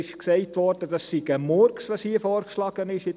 Es wurde gesagt, was hier vorgeschlagen wird, sei ein Murks.